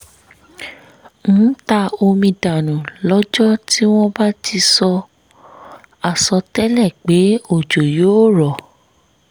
ń ta omi dànù lọ́jọ́ tí wọ́n bá ti sọ àsọtẹ́lẹ̀ pé òjò yóò rọ̀